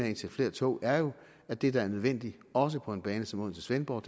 at indsætte flere tog er jo at det der er nødvendigt også på en bane som odense svendborg